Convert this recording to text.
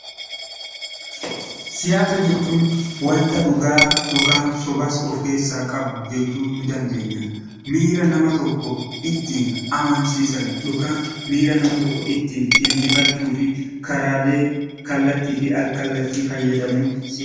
Siyaasa jechuun wanta dhugaa sobas of keessaa qabu jechuu ni dandeenya. Miira nama tokko ittiin injifachuu fi karaalee kallattii fi al-kallaattiin fayyadamuuni.